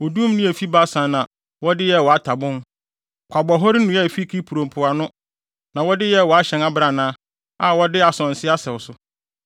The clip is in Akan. Odum nnua a efi Basan na wɔde yɛɛ wʼatabon; Kwabɔhɔre nnua a efi Kipro mpoano na wɔde yɛɛ wʼahyɛn abrannaa, a wɔde asonse asɛw so.